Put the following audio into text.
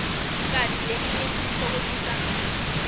kanti leminye sititfokotisa ngayo